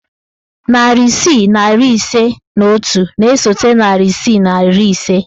Narị isii na iri ise na otu na-esote narị isii na iri ise.